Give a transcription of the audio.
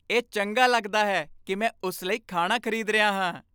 ਇਹ ਚੰਗਾ ਲੱਗਦਾ ਹੈ ਕਿ ਮੈਂ ਉਸ ਲਈ ਖਾਣਾ ਖ਼ਰੀਦ ਰਿਹਾ ਹਾਂ।